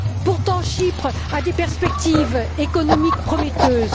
Pourtant, Chypre a des perspectives économiques prometteuses.